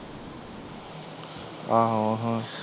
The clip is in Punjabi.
ਆਹੋ ਆਹੋ